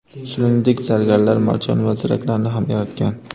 Shuningdek, zargarlar marjon va ziraklarni ham yaratgan.